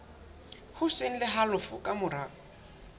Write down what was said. hoseng le halofo ka mora